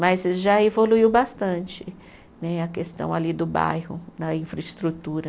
Mas já evoluiu bastante né a questão ali do bairro, da infraestrutura.